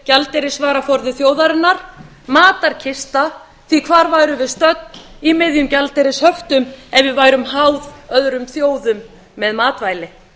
gjaldeyrisvaraforði þjóðarinnar matarkista því að hvar værum við stödd í miðjum gjaldeyrishöftum ef við værum háð öðrum þjóðum með matvæli